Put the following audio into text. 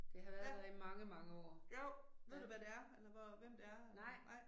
Ja. Jo, ved du hvad det er eller hvor hvem det er? Nej